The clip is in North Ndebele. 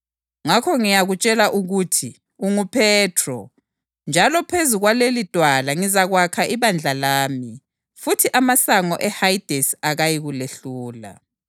Ngizakupha izihluthulelo zombuso wezulu; loba yini oyibophayo emhlabeni izabotshwa lasezulwini njalo loba yini oyithukululayo emhlabeni izathukululwa lasezulwini.”